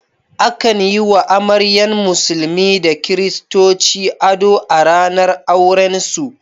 Akan yi wa amaryan musulmi da kiristoci ado a ranar aurensu.